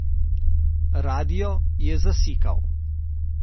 Radio je zasikal.